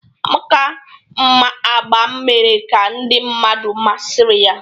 Amaka mma agba mere ka ndị mmadụ masịrị ya